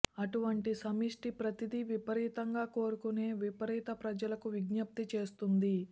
అటువంటి సమిష్టి ప్రతిదీ విపరీతంగా కోరుకునే విపరీత ప్రజలకు విజ్ఞప్తి చేస్తుంది